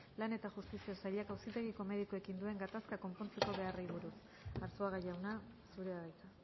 lan eta justizia sailak auzitegiko medikuekin duen gatazka konpontzeko beharrari buruz arzuaga jauna zurea da hitza